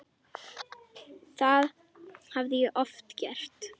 Það hafði ég oft gert.